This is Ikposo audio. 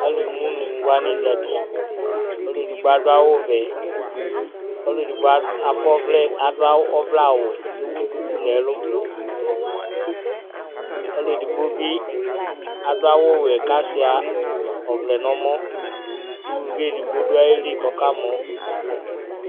Alumuinu wani za uti Ɔlu edigbo adu awu vɛ Ɔlu edigbo akɔ ɔvlɛ awu ku ewu duku nu ɛlu Ɔlu edigbo bi adu awu ɔwɛ ku asuia ɔvlɛ nu ɛmɔ Uluvi edigbo du ayili ku ɔkamɔ